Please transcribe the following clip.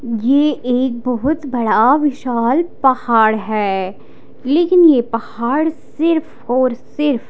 ये एक बहुत बड़ा विशाल पहाड़ है लेकिन ये पहाड़ सिर्फ और सिर्फ--